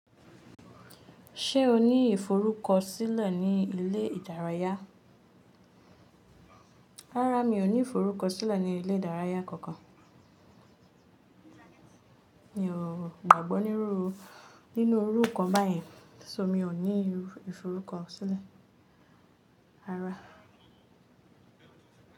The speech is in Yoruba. Ṣé o ní ìforúkọ̀sílẹ̀ ní ilẹ̀ ìdárayà? Rárá mi ò ní ìforúkọ̀sílẹ̀ ní ilẹ̀ ìdárayà kankan. Mi ò gbàgbọ́ nínú irú nkan báyẹn, ṣo mi ò ní ìforúkọ̀sílẹ̀. Rárá.